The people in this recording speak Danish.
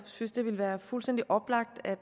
synes det ville være fuldstændig oplagt at